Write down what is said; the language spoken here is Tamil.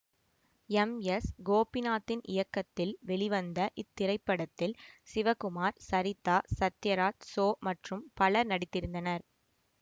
எம்எஸ்கோபிநாத்தின் இயக்கத்தில் வெளிவந்த இத்திரைப்படத்தில் சிவகுமார் சரிதா சத்யராஜ் சோ மற்றும் பலரும் நடித்திருந்தனர்